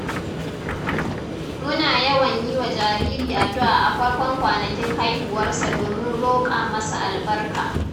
Muna yawan yi wa jariri addu’a a farkon kwanakin haihuwarsa domin roƙa masa albarka.